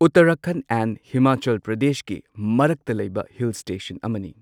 Uttarakhand and Himachal ꯄ꯭ꯔꯗꯦꯁꯀꯤ ꯃꯔꯛꯇ ꯂꯩꯕ ꯍꯤꯜ ꯁ꯭ꯇꯦꯁꯟ ꯑꯃꯅꯤ꯫